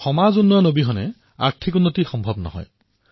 সামাজিক পৰিৱৰ্তন অবিহনে আৰ্থিক প্ৰগতি আধৰুৱা হয়